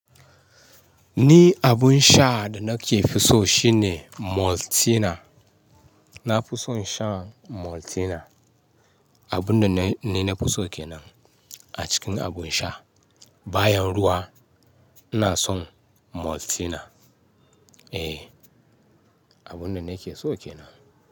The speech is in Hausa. Ni abun sha da nake fi so shine Maltina. Na fi son shan Maltina. Abun da ni na fi so kenan a cikin abun sha. Bayan ruwa ina son Maltina. Eh, abun da nake so kenan.